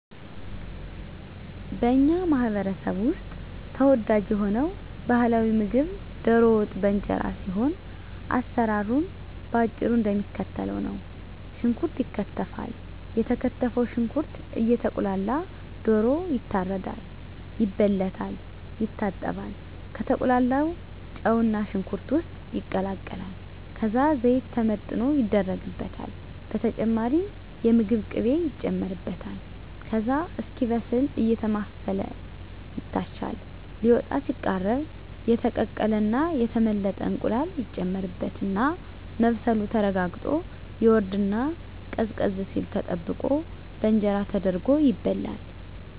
በኛ ማህበረሰብ ውስጥ ተወዳጅ የሆነው ባህላዊ ምግብ ደሮ ወጥ በእንጀራ ሲሆን አሰራሩም በአጭሩ እደሚከተለው ነው። ሽንኩርት ይከተፋል የተከተፈው ሽንኩርት እየቁላላ ደሮ ይታረዳል፣ ይበለታል፣ ይታጠባል፣ ከተቁላላው ጨውና ሽንኩርት ውስጥ ይቀላቀላል ከዛ ዘይት ተመጥኖ ይደረግበታል በተጨማሪም የምግብ ቅቤ ይጨመርበታል ከዛ እስኪበስል አየተማሰለ ይታሻል ሊወጣ ሲቃረብ የተቀቀለና የተመለጠ እንቁላል ይጨመርበትና መብሰሉ ተረጋግጦ ይወርድና ቀዝቀዝ ሲል ተጠብቆ በእንጀራ ተደርጎ ይበላል።